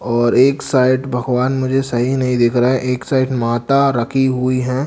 और एक साइड भगवान मुझे सही नहीं दिख रहा है एक साइड माता रखी हुई है।